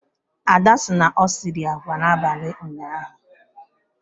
Ada sị na o siri agwa n'abalị ụnyaahụ